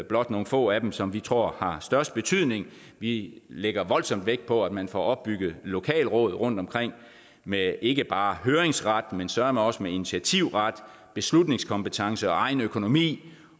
blot nogle få af dem som vi tror har størst betydning vi lægger voldsomt vægt på at man får opbygget lokalråd rundtomkring med ikke bare høringsret men søreme også med initiativret beslutningskompetence og egen økonomi